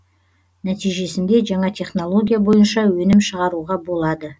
нәтижесінде жаңа технология бойынша өнім шығаруға болады